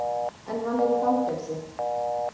En hann er í fangelsi